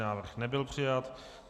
Návrh nebyl přijat.